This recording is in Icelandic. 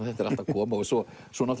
þetta er allt að koma og svo